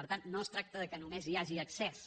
per tant no es tracta que només hi hagi accés